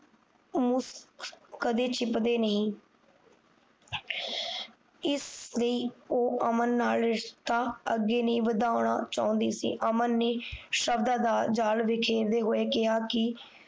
ਮੁਸ਼ਕ ਕਦੇ ਛਿਪਦੇ ਨੀ ਇਸ ਲਈ ਉਹ ਅਮਨ ਨਾਲ ਰਿਸ਼ਤਾ ਅੱਗੇ ਨਹੀਂ ਵਧਾਉਣਾ ਚਾਹੁੰਦੀ ਸੀ ਅਮਨ ਨੇ ਸ਼ਬਦਾਂ ਦਾ ਜਾਲ ਹੋਏ ਕਿਹਾ ਕਿ